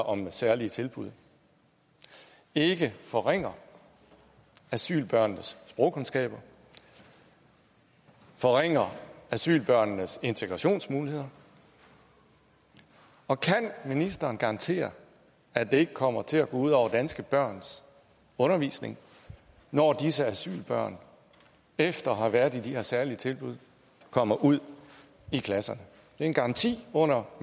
om særlige tilbud ikke forringer asylbørnenes sprogkundskaber forringer asylbørnenes integrationsmuligheder og kan ministeren garantere at det ikke kommer til at gå ud over danske børns undervisning når disse asylbørn efter at have været i de her særlige tilbud kommer ud i klasserne det er en garanti under